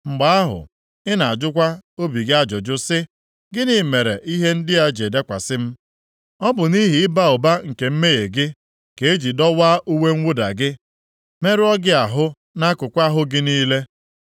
Mgbe ahụ, ị ga-ajụkwa obi gị ajụjụ sị, “Gịnị mere ihe ndị a ji dakwasị m?” Ọ bụ nʼihi ịba ụba nke mmehie gị ka e ji dọwaa uwe mwụda gị, merụọ gị ahụ nʼakụkụ ahụ gị niile.